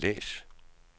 læs